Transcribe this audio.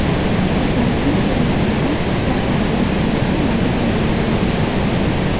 Xususan, Viktor Lukashenkoga zaxiradagi general-mayor unvoni berildi.